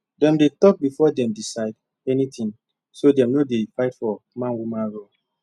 dem dey talk before dem decide anything so dem no dey fight about manwoman role